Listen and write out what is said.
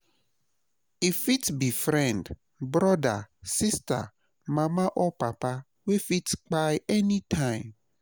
e fit bi friend, broda, sista, mama or papa wey fit kpai anytime